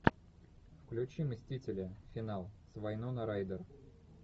включи мстители финал с вайноной райдер